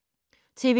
TV 2